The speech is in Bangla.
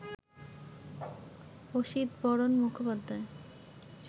অসিতবরণ মুখোপাধ্যায়